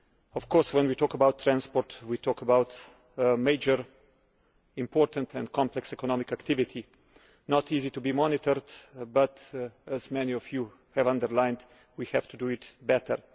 Of course, when we talk about transport, we talk about a major, important and complex economic activity, one it is not easy to monitor, but as many of you have underlined we have to do it better.